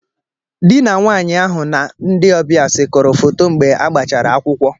Dị na nwaanyị ahụ na ndị ọbịa sekọrọ foto mgbe agbachara akwụkwọ.